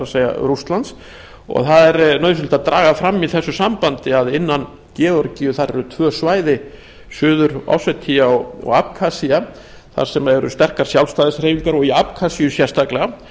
gas rússlands það er nauðsynlegt að draga fram í þessu sambandi að innan georgíu eru tvö svæði suður ossetía og abkazía þar sem eru sterkar sjálfstæðishreyfingar í abkazíu sérstaklega